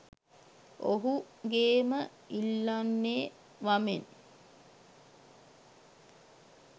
ඔහු ගේම ඉල්ලන්නෙ වමෙන්.